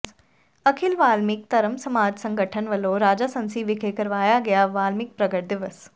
ਅਖਿਲ ਵਾਲਮੀਕ ਧਰਮ ਸਮਾਜ ਸੰਗਠਨ ਵਲੋਂ ਰਾਜਾਸਾਂਸੀ ਵਿਖੇ ਕਰਵਾਇਆ ਗਿਆ ਵਾਲਮੀਕ ਪ੍ਰਗਟ ਦਿਵਸ